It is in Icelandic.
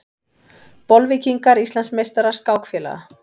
Bolvíkingar Íslandsmeistarar skákfélaga